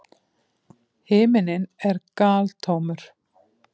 Himinninn er galtómur.